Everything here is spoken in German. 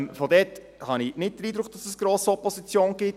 Daher habe ich nicht den Eindruck, dass es gross Opposition gibt.